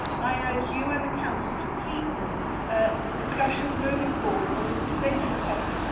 I urge you and the Council to keep the discussions moving forward on this essential topic.